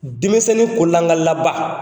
Denmisɛnni ko lankali la ba